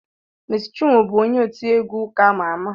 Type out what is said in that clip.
Meci Chinwo bụ onye otiegwu ụka ama ama